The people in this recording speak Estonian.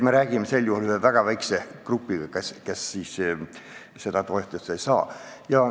Me räägime väga väiksest grupist, kes seda toetust ei saaks.